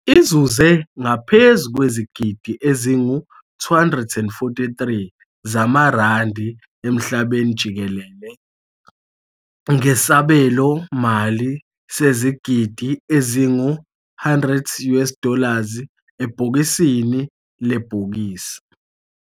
Izuze ngaphezu kwezigidi ezingu-243 zamaRandi emhlabeni jikelele ngesabelomali sezigidi ezingu- 100 US dollars ebhokisini lebhokisi.